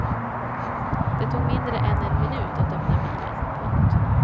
Det tog mindre än en minut att öppna bilen. punkt